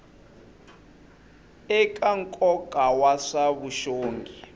eka nkoka wa swa vuxongi